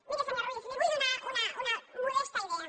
miri senyor ruiz li vull donar una modesta idea